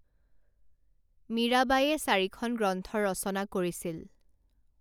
মীৰাবাইয়ে চাৰিখন গ্ৰন্থৰ ৰচনা কৰিছিল